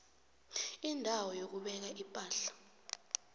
indawo yokubeka ipahla